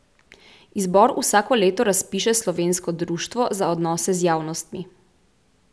Izbor vsako leto razpiše Slovensko društvo za odnose z javnostmi.